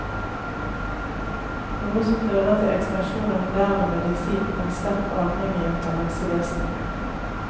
Noe som fører til ekspansjon av moderne medisin og en sterk avhengighet av helsevesenet.